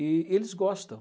E eles gostam.